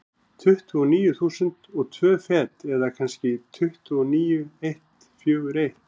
Tuttugu og níu þúsund og tvö fet, eða kannski tuttugu og níu eitt fjögur eitt.